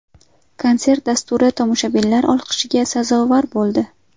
Konsert dasturi tomoshabinlar olqishiga sazovor bo‘ldi.